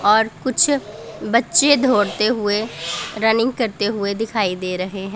और कुछ बच्चे दौड़ते हुए रनिंग करते हुए दिखाई दे रहे हैं।